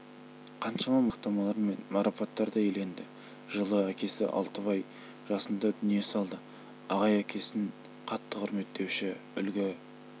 қаншама мадақтамалар мен марапаттарды иеленді жылы әкесі алтыбай жасында дүние салды ағай әкесін қатты құрметтеуші үлгі